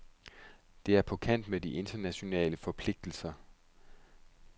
Det er på kant med de internationale forpligtelser.